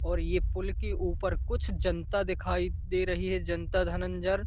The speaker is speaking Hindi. और ये पुल के ऊपर कुछ जानता दिखाई दे रही है जनता धनंजर--